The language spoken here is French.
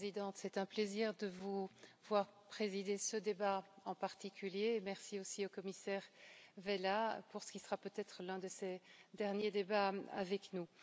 Madame la Présidente, c'est un plaisir de vous voir présider ce débat en particulier, merci aussi au commissaire Vella pour ce qui sera peut être l'un de ses derniers débats avec nous.